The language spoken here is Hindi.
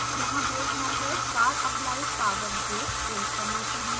यहाँ brake method car applies power brake print करना चाहिए